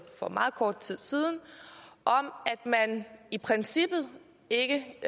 for meget kort tid siden om at man i princippet ikke